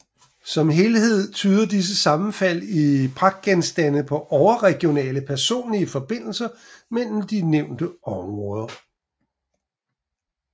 Som helhed tyder disse sammenfald i pragtgenstande på overregionale personlige forbindelser mellem de nævnte områder